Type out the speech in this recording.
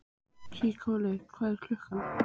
Nikólína, hvað er klukkan?